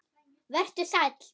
Vertu sæll, pabbi minn.